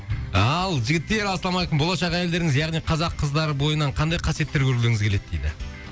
ал жігіттер ассалаумалейкум болашақ әйелдеріңіз яғни қазақ қыздары бойынан қандай қасиеттер көргілеріңіз келеді дейді